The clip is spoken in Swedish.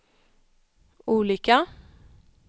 olika